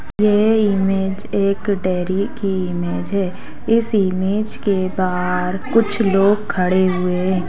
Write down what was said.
ये इमेज एक डेरी की इमेज है इस इमेज के बाहर कुछ लोग खड़े हुए है।